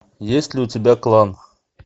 есть ли у тебя клан